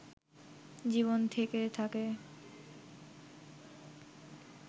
জীবন থেকে থাকে